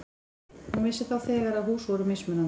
Hún vissi þá þegar að hús voru mismunandi.